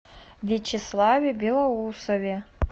вячеславе белоусове